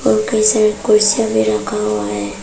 कईं सारे कुर्सियां भी रखा हुआ है।